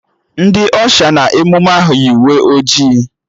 Ndị Ọsha nọ n'emụme ahụ yi uwe ojii